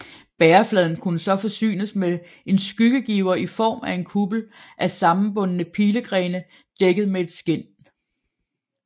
Bærefladen kunne så forsynes med en skyggegiver i form af en kuppel af sammenbundne pilegrene dækket med et skind